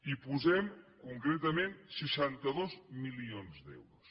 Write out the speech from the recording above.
hi posem concretament seixanta dos milions d’euros